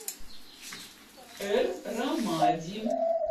эр рамади